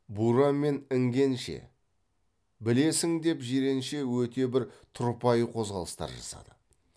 бура мен іңгенше білесің деп жиренше өте бір тұрпайы қозғалыстар жасады